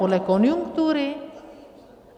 Podle konjunktury?